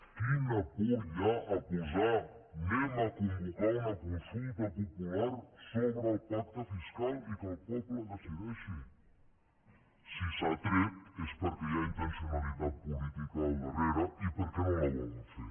quina por hi ha a posar anem a convocar una consulta popular sobre el pacte fiscal i que el poble decideixi si s’ha tret és perquè hi ha intencionalitat política al darrere i perquè no la volen fer